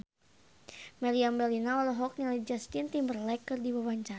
Meriam Bellina olohok ningali Justin Timberlake keur diwawancara